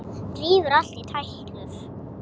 Rífur allt í tætlur.